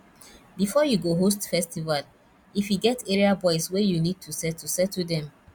before you go host festival if e get area boys wey you need to settle settle them